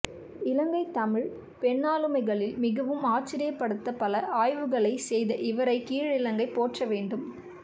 இலங்கைத் தமிழ்ப் பெண்ணாளுமைகளில் மிகவும் ஆச்சரியப்படத்த பல ஆய்வுகளைச் செய்த இவரைக் கிழக்கிலங்கை போற்றவேண்டும்